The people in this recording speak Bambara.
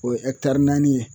O ye ɛkitari naani ye